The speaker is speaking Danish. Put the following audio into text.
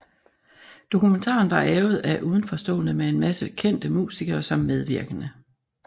Dokumentaren var avet af udenforstående med en masse kendte musikere som medvirkende